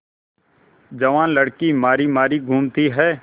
जवान लड़की मारी मारी घूमती है